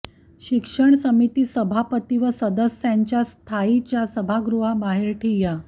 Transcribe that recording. शिक्षण समिती सभापती व सदस्यांचा स्थायीच्या सभागृहाबाहेर ठिय्या